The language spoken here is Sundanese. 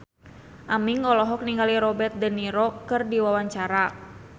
Aming olohok ningali Robert de Niro keur diwawancara